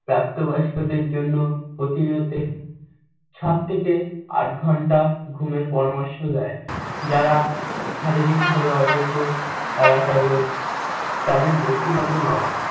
প্রাপ্তবয়স্কদের জন্য সাত থেকে আট ঘন্টা ঘুমের পরামর্শ দেন। যারা শারীরিক ভাবে অযোগ্য তারা কেবল তাদের ব্যক্তিগত নয়